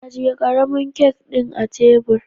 ajiye karamin kak din a tebur.